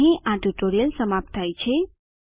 અહીં આ ટ્યુટોરીયલ સમાપ્ત થાય છે